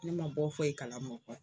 Ne man bɔ foyi kalama o kɔ.